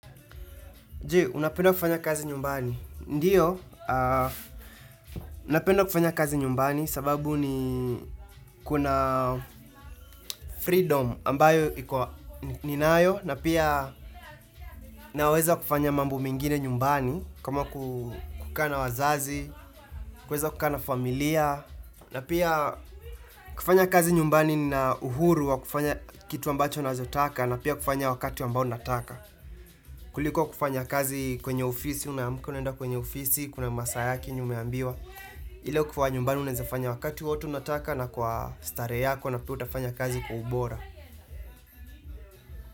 Je, unapenda kufanya kazi nyumbani. Ndiyo, napenda kufanya kazi nyumbani sababu ni kuna freedom ambayo iko ninayo na pia naweza kufanya mambo mingine nyumbani kama kukana wazazi, kukana familia na pia kufanya kazi nyumbani na uhuru wa kufanya kitu ambacho nazotaka na pia kufanya wakati ambao nataka. Kuliko kufanya kazi kwenye ofisi, unaamka unaenda kwenye ofisi, kuna masaa yake ni umeambiwa ile kuwa nyumbani unezafanya wakati watu unataka na kwa starehe yako na pia utafanya kazi kwa ubora.